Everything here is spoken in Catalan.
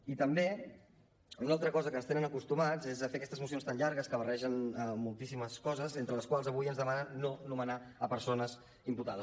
i també una altra cosa a què ens tenen acostumats és a fer aquestes mocions tan llargues que barregen moltíssimes coses entre les quals avui ens demanen no nomenar persones imputades